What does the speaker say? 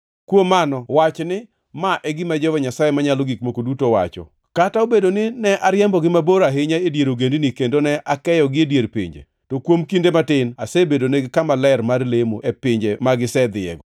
“Kuom mano wach ni, ‘Ma e gima Jehova Nyasaye Manyalo Gik Moko Duto wacho: Kata obedo ni ne ariembogi mabor ahinya e dier ogendini kendo ne akeyogi e dier pinje, to kuom kinde matin asebedonegi kama ler mar lemo e pinje ma gisedhiyego.’